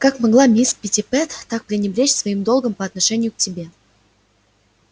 как могла мисс питтипэт так пренебречь своим долгом по отношению к тебе